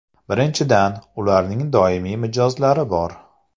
Birinchidan, ularning doimiy mijozlari bor.